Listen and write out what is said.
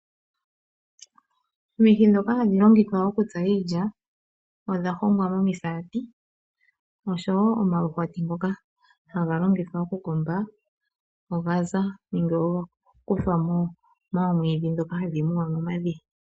Omihi dhoka hadhi longithwa okutsa iilya odha hongwa momisaati, osho wo omaluhwati ngoka haga longithwa okukomba ogaza nenge ogakuthwa moomwidhi dhoka hadhi muwa momadhiya.